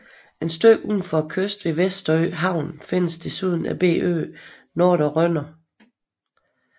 Et stykke ud for kysten ved Vesterø Havn findes desuden den lille ø Nordre Rønner